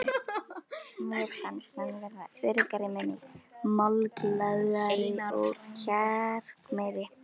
Mér fannst ég verða öruggari með mig, málglaðari og kjarkmeiri.